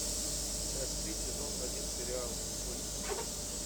часть три сезон один сериал кости